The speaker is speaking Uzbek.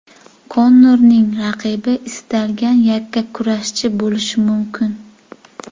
Konorning raqibi istalgan yakkakurashchi bo‘lishi mumkin.